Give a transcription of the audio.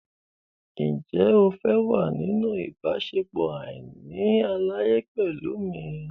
Ǹjẹ́ o fẹ́ wà nínú ìbáṣepọ̀ àìní àlàyé pẹ̀lú mi?